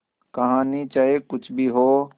कहानी चाहे कुछ भी हो